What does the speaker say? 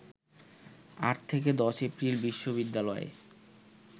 ৮ থেকে ১০ এপ্রিল বিশ্ববিদ্যালয়ে